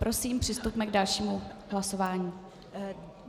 Prosím, přistupme k dalšímu hlasování.